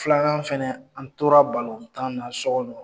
Filanan fɛnɛ , an tora tan na so kɔnɔ